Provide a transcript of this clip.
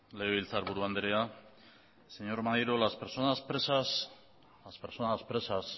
legebiltzarburu andrea señor maneiro las personas presas